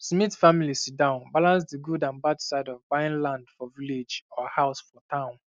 smith family sit down balance the good um and bad side of buying land for village or house for town